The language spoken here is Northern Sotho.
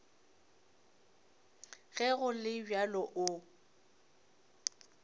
ge go le bjalo o